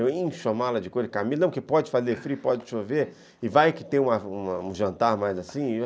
Eu encho a mala de couro de camisa, não, que pode fazer frio, pode chover, e vai que tem um jantar mais assim.